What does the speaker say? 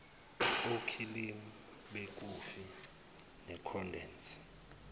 okhilimu bekhofi nekhondensi